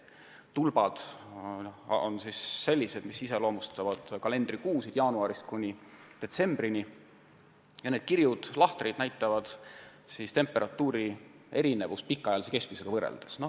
Tulbad iseloomustavad kalendrikuusid jaanuarist kuni detsembrini ja need kirjud lahtrid näitavad temperatuuri erinevust pikaajalise keskmisega võrreldes.